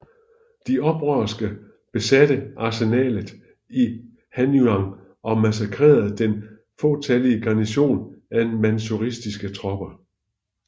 De oprørske besatte arsenalet i Hanyang og massakrerede den fåtallige garnison af manchuiske tropper